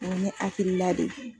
O ye ne hakilila de ye.